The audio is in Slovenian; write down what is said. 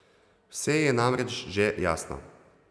Vse ji je namreč že jasno.